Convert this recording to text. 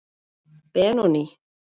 Benóný